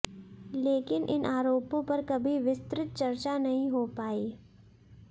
लेकिन इन आरोपों पर कभी विस्तृत चर्चा नही हो पायी